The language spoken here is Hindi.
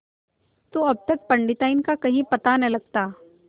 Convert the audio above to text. तो अब तक पंडिताइन का कहीं पता न लगता